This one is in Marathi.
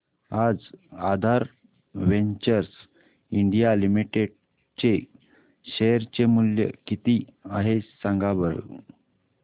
आज आधार वेंचर्स इंडिया लिमिटेड चे शेअर चे मूल्य किती आहे सांगा बरं